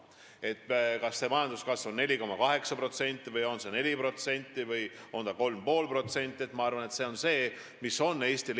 Eestile on minu arvates igal juhul jõukohane majanduskasv, mis on 4,8%, 4% või 3,5%.